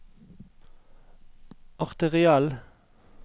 arteriell